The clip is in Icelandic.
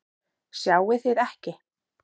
Sjáið þið ekki?